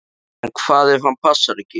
En hvað ef hann passar ekki?